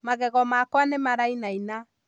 Magego makwa nĩmarainaina